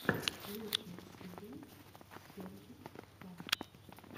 лучшая серия сергиккас